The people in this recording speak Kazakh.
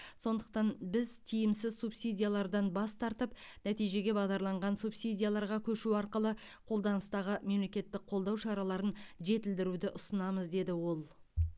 сондықтан біз тиімсіз субсидиялардан бас тартып нәтижеге бағдарланған субсидияларға көшу арқылы қолданыстағы мемлекеттік қолдау шараларын жетілдіруді ұсынамыз деді ол